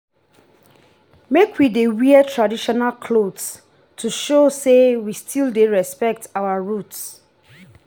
make we dey wear traditional clothes to show sey we still dey respect our roots.